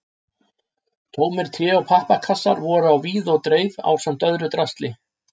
Tómir tré- og pappakassar voru á víð og dreif ásamt öðru drasli.